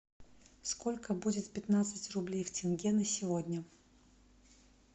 сколько будет пятнадцать рублей в тенге на сегодня